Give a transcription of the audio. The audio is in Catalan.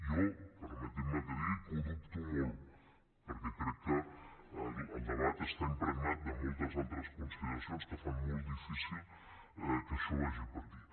jo permetin me que digui que ho dubto molt perquè crec que el debat està impregnat de moltes altres consideracions que fan molt difícil que això vagi per aquí